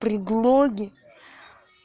предлоги